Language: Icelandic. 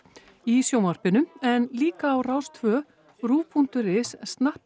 í sjónvarpinu en líka á Rás tvö punktur is